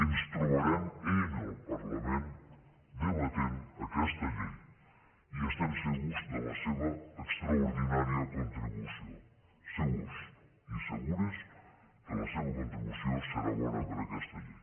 ens trobarem en el parlament debatent aquesta llei i estem segurs de la seva extraordinària contribució segurs i segures que la seva contribució serà bona per a aquesta llei